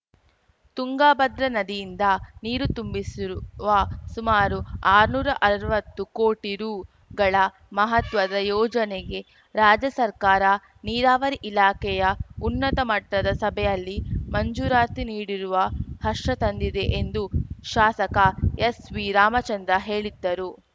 ತುಂಗಭದ್ರಾ ನದಿಯಿಂದ ನೀರು ತುಂಬಿಸಿರುವ ಸುಮಾರು ಆರ್ನೂರ ಅರ್ವತ್ತು ಕೋಟಿ ರುಗಳ ಮಹತ್ವದ ಯೋಜನೆಗೆ ರಾಜ್ಯ ಸರ್ಕಾರ ನೀರಾವರಿ ಇಲಾಖೆಯ ಉನ್ನತ ಮಟ್ಟದ ಸಭೆಯಲ್ಲಿ ಮಂಜೂರಾತಿ ನೀಡಿರುವ ಹರ್ಷ ತಂದಿದೆ ಎಂದು ಶಾಸಕ ಎಸ್‌ವಿರಾಮಚಂದ್ರ ಹೇಳಿದ್ದರು